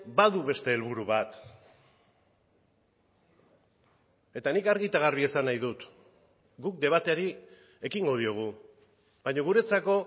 badu beste helburu bat eta nik argi eta garbi esan nahi dut guk debateari ekingo diogu baina guretzako